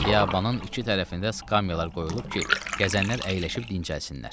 Xiyabanın iki tərəfində skamyalar qoyulub ki, gəzənlər əyləşib dincəlsinlər.